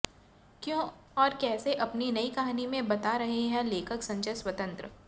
क्यों और कैसे अपनी नई कहानी में बता रहे हैं लेखक संजय स्वतंत्र